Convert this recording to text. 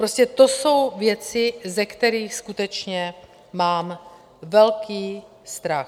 Prostě to jsou věci, ze kterých skutečně mám velký strach.